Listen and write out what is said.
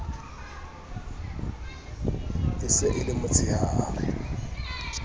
e se e le motsheare